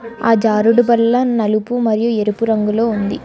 ఆ జారుడు బల్లా నలుపు మరియు ఎరిపు రంగులో ఉంది.